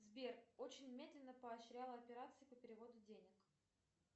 сбер очень медленно поощрял операции по переводу денег